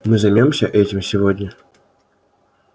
мы займёмся этим сегодня